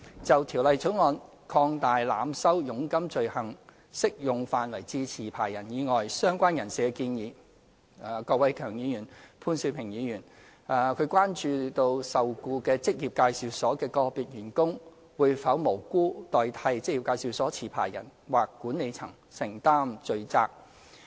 就《條例草案》擴大濫收佣金罪行適用範圍至持牌人以外的相關人士的建議，郭偉强議員、潘兆平議員關注受僱於職業介紹所的個別員工會否無辜代替職業介紹所持牌人或管理層承擔罪責。